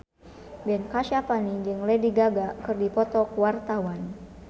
Ben Kasyafani jeung Lady Gaga keur dipoto ku wartawan